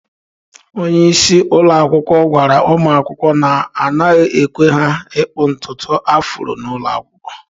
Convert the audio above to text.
Onye isi ụlọ akwụkwọ gwara ụmụ akwụkwọ na, anaghị ekwe ha ịkpụ ntutu afro n'ụlọ akwụkwọ.